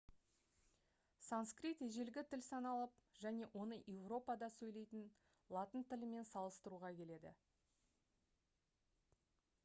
санскрит ежелгі тіл саналып және оны еуропада сөйлейтін латын тілімен салыстыруға келеді